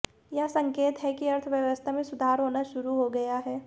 यह संकेत है कि अर्थव्यवस्था में सुधार होना शुरू हो गया है